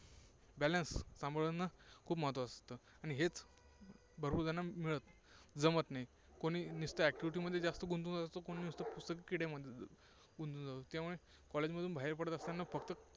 balance सांभाळणे खूप महत्त्वाचं असतं. आणि हेच भरपूर जणं जमतं नाही. कोणी नुसतं activity मध्ये जास्त गुंतून जातं, कुणी नुसतं पुस्तकी किडे किंवा college मधून बाहेर पडत असताना